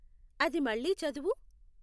అది మళ్ళీ చదువు